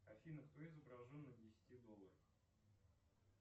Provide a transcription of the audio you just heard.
афина кто изображен на десяти долларах